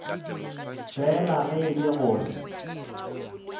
fela ge e le gore